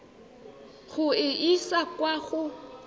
go e isa kwa go